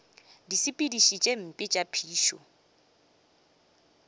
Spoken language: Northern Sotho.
disepediši tše mpe tša phišo